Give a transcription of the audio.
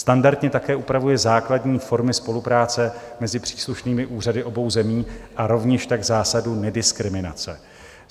Standardně také upravuje základní formy spolupráce mezi příslušnými úřady obou zemí a rovněž tak zásadu nediskriminace.